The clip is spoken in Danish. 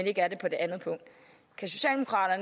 ikke er det på det andet punkt